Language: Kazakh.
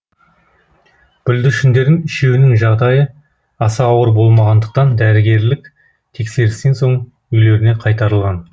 бүлдіршіндердің үшеуінің жағдайы аса ауыр болмағандықтан дәрігерлік тексерістен соң үйлеріне қайтарылған